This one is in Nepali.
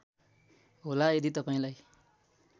होला यदि तपाईँलाई